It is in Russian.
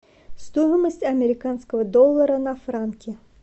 стоимость американского доллара на франки